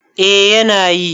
eh yana yi